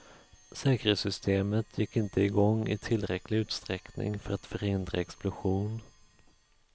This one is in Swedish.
Säkerhetsystemet gick inte igång i tillräcklig utsträckning för att förhindra explosion.